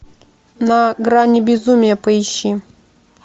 на грани безумия поищи